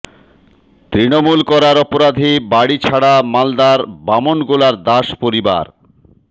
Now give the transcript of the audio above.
তৃণমূল করার অপরাধে বাড়ি ছাড়া মালদার বামনগোলার দাস পরিবার